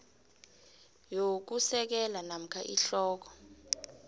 yokusekela namkha ihloko